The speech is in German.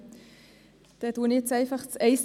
Ich äussere mich zum Antrag 1e.